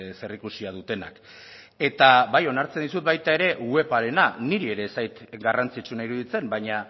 zer ikusia dutenak eta bai onartzen dizut baita ere webarena niri ez zait garrantzitsuena iruditzen baina